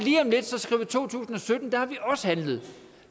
to tusind og sytten der har vi også handlet